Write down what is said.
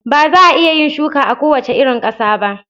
Ba za a iya yin shuka a kowace irin ƙasa ba.